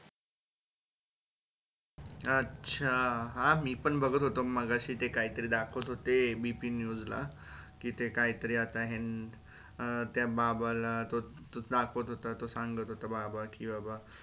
अच्छा हा मी पण बघत होतो मगाशी ते काहीतरी दाखवत होते ABPnews ला कि ते काहीतरी आता हे अं त्या बाबा ला दाखवत तो दाखवत तो सांगत होता.